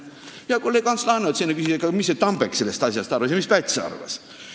Hea kolleeg Ants Laaneots enne küsis, mis see Tambek sellest asjast arvas ja mis Päts arvas.